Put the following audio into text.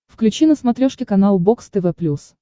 включи на смотрешке канал бокс тв плюс